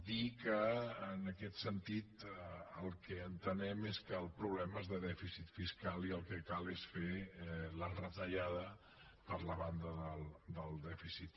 dir que en aquest sentit el que entenem és que el problema és de dèficit fiscal i el que cal és fer la retallada per la banda del dèficit